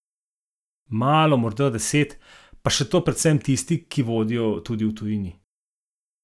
Malo, morda deset, pa še to predvsem tisti, ki vodijo tudi v tujini.